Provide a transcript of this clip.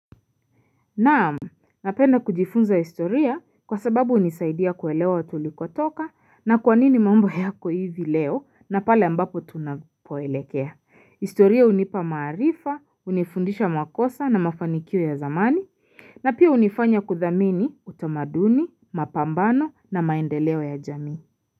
Naamu, napenda kujifunza historia kwa sababu unisaidia kuelewa watulikotoka na kwanini mambo yako hivi leo na pale ambapo tunapoelekea. Historia unipa maarifa, unifundisha makosa na mafanikio ya zamani, na pia unifanya kuthamini utamaduni, mapambano na maendeleo ya jamii.